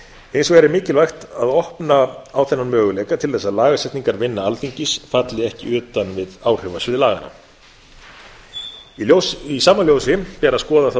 hins vegar er mikilvægt að opna á þennan möguleika til þess að lagasetningarvinna alþingis falli ekki utan við áhrifasvið laganna í sama ljósi ber að skoða þá